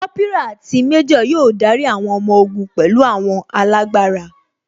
Kópírà àti méjò yóò darí àwọn ọmọ ogun pẹ̀lú àwọn alágbára